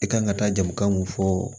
I kan ka taa jamu kan mun fɔ